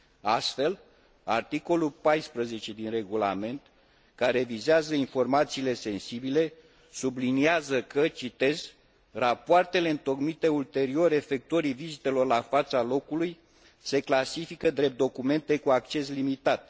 Astfel, articolul 14 din regulament, care vizează informațiile sensibile, subliniază că rapoartele întocmite ulterior efectuării vizitelor la fața locului se clasifică drept documente cu acces limitat.